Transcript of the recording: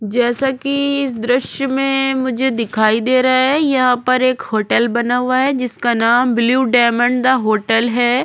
जैसा की इस दृश्य में मुझे दिखाई दे रहा है यहाँ पर एक होटल बना हुआ है जिसका नाम ब्लू डायमंड दा होटल है।